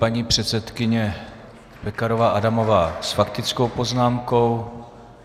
Paní předsedkyně Pekarová Adamová s faktickou poznámkou.